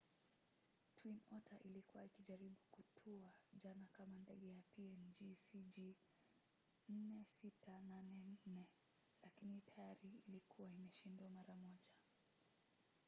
twin otter ilikuwa ikijaribu kutua jana kama ndege ya png cg4684 lakini tayari ilikuwa imeshindwa mara moja